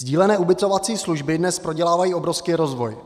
Sdílené ubytovací služby dnes prodělávají obrovský rozvoj.